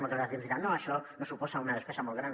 moltes vegades ens diran no això no suposa una despesa molt gran